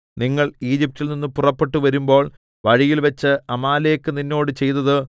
നിങ്ങൾ ഈജിപ്റ്റിൽ നിന്ന് പുറപ്പെട്ടു വരുമ്പോൾ വഴിയിൽവച്ച് അമാലേക്ക് നിന്നോട് ചെയ്തത്